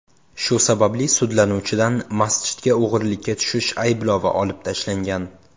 Shu sababli sudlanuvchidan masjidga o‘g‘rilikka tushish ayblovi olib tashlangan.